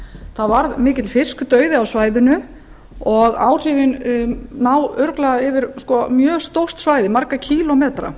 það varð mikill fiskadauði á svæðinu og áhrifin ná örugglega yfir mjög stórt svæði marga kílómetra